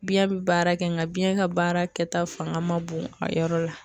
Biɲɛ bi baara kɛ nga biɲɛ ka baara kɛta fanga man bon a yɔrɔ la